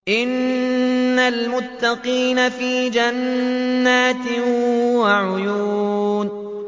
إِنَّ الْمُتَّقِينَ فِي جَنَّاتٍ وَعُيُونٍ